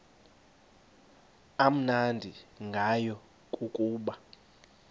amnandi ngayo kukuba